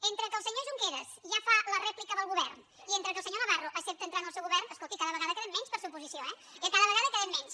entre que el senyor junqueras ja fa la rèplica del govern i entre que el senyor navarro accepta entrar en el seu govern escolti cada vegada en quedem menys per ser oposició eh ja cada vegada en quedem menys